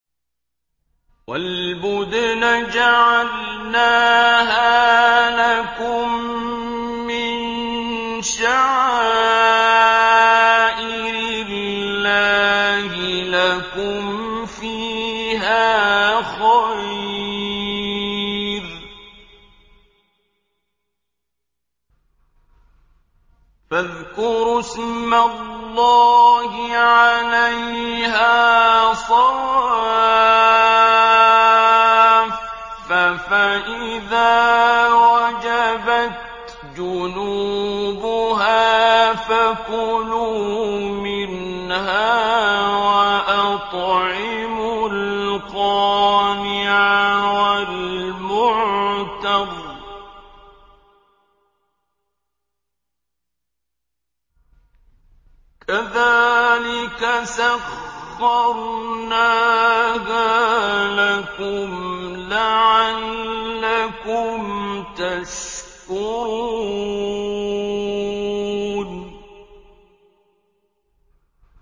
وَالْبُدْنَ جَعَلْنَاهَا لَكُم مِّن شَعَائِرِ اللَّهِ لَكُمْ فِيهَا خَيْرٌ ۖ فَاذْكُرُوا اسْمَ اللَّهِ عَلَيْهَا صَوَافَّ ۖ فَإِذَا وَجَبَتْ جُنُوبُهَا فَكُلُوا مِنْهَا وَأَطْعِمُوا الْقَانِعَ وَالْمُعْتَرَّ ۚ كَذَٰلِكَ سَخَّرْنَاهَا لَكُمْ لَعَلَّكُمْ تَشْكُرُونَ